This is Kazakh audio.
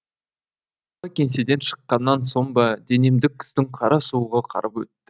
кеңседен шыққаннан соң ба денемді күздің қара суығы қарып өтті